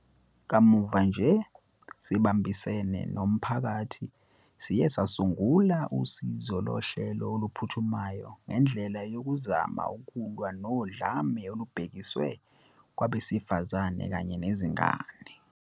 Kamuva nje, sibambisene, nomphakathi, siye sasungula usizo lohlelo oluphuthumayo ngendlela yokuzama ukulwa nodlame olubhekiswe kwabesifazane kanye nezingane.